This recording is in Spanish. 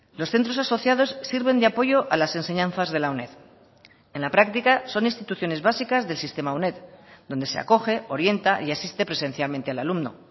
los centros asociados sirven de apoyo a las enseñanzas de la uned en la práctica son instituciones básicas del sistema uned donde se acoge orienta y asiste presencialmente al alumno